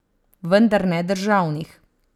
Vendar ne državnih.